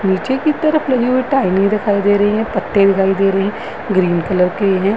पीछे की तरफ लगी हुई टहनी दिखाई दे रही है। पत्ते दिखाई दे रहे हैं। ग्रीन कलर के ये है।